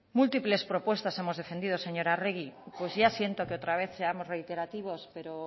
múltiples propuestas hemos defendido señora arregi pues ya siento que otra vez seamos reiterativos pero